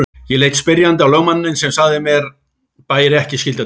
Ég leit spyrjandi á lögmanninn sem sagði að mér bæri ekki skylda til þess.